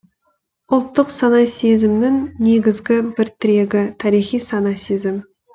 ұлттық сана сезімнің негізгі бір тірегі тарихи сана сезім